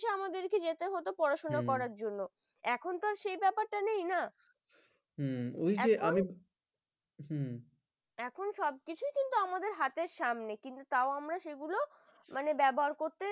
আমাদেরকে যেতে হতো পড়াশোনা করার জন্য এখনকার সেই ব্যাপারটা নেই না হম ওই যে আমি হম এখন সবকিছুই কিন্তু আমাদের হাতের সামনে কিন্তু তা আমরা সেগুলো মানে ব্যবহার করতে